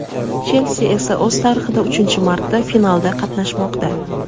"Chelsi" esa o‘z tarixida uchinchi marta finalda qatnashmoqda.